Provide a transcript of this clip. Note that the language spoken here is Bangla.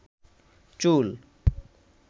চুল